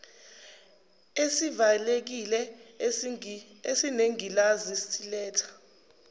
esivalekile esinengilazi siletha